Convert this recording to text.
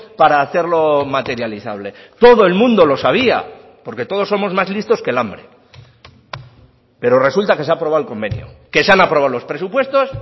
para hacerlo materializable todo el mundo lo sabía porque todos somos más listos que el hambre pero resulta que se ha aprobado el convenio que se han aprobado los presupuestos